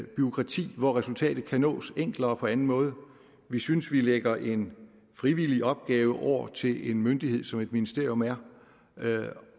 bureaukrati hvor resultatet kan nås enklere på anden måde vi synes vi lægger en frivillig opgave over til en myndighed som et ministerium er